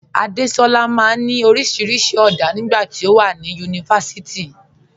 Adéṣọla maa n ni oríṣiríṣi ọ̀dá nígbà tí o wà ní yunífásíìtì.